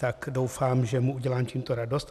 Tak doufám, že mu udělám tímto radost.